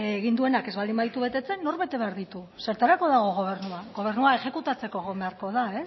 egin duenak ez baldin baditu betetzen nork bete behar ditu zertarako dago gobernua gobernua exekutatzeko egon beharko da